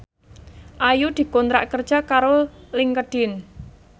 Ayu dikontrak kerja karo Linkedin